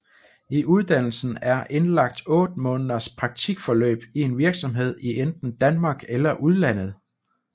I uddannelsen er indlagt 8 måneders praktikforløb i en virksomhed i enten Danmark eller udlandet